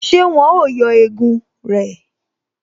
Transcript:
Ṣé wọn ó yọ egun rẹ̀?